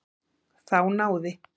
Þá náði